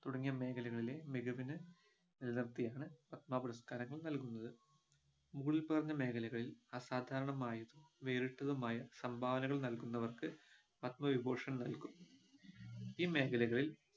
തുടങ്ങിയ മേഖലകളിലെ മികവിനെ നിലനിർത്തിയാണ് പത്മ പുരസ്കാരങ്ങൾ നൽകുന്നത് മുകളിൽ പറഞ്ഞ മേഖലകളിൽ അസാധാരണമായതും വേറിട്ടതുമായ സംഭാവനകൾ നൽകുന്നവർക്ക് പത്മവിഭൂഷൻ നൽകും ഈ മേഖലകളിൽ